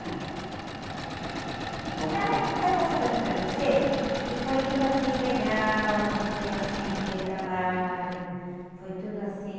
Não, também porque eu estou falando para você que foi tudo assim legal, não foi assim que deu trabalho, foi tudo assim.